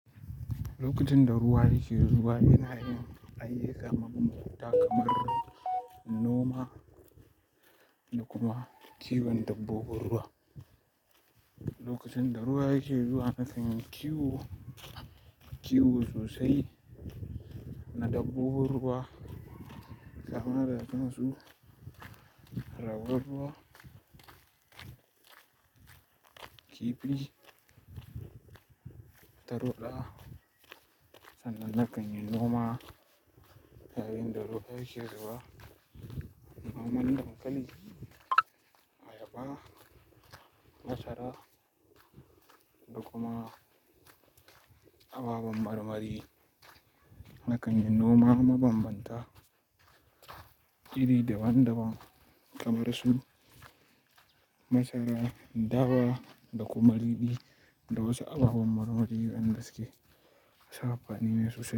Lokacin da ruwa yake zuwa yana yin ayyukan maman mata kamar noma da kuma kiwon dabbobin ruwa. Lokacin da ruwa yake zuwa na kanyi kiwo, kiwo sosai na dabbobin ruwa. Saboda yanzu raguwar ruwa, kifi, tarwaɗa sannan na kanyi noma. Sai in da ruwa yake zuwa, noma na dinka ni. Ayaba ma masara da kuma ababen marmari. Na kanyi noma mabambanta iri daban-daban kamar su masara, dawa da kuma ridi da wasu ababen marmari masu amfanine sosai.